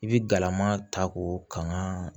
I bi galama ta k'o kan ka